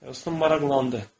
Heston maraqlandı.